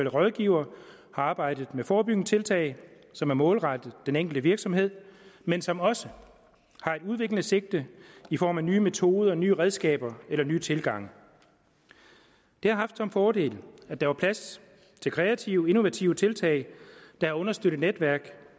rådgivere har arbejdet med forebyggende tiltag som er målrettet den enkelte virksomhed men som også har et udviklende sigte i form af nye metoder nye redskaber eller nye tilgange det har haft den fordel at der var plads til kreative og innovative tiltag der var understøttet af netværk